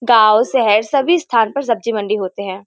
गांव शहर सभी स्थान पर सब्जी मंडी होते है।